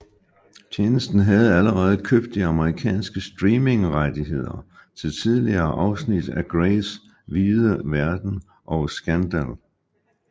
Tjenesten havde allerede købt de amerikanske streamingrettigheder til tidligere afsnit af Greys Hvide Verden og Scandal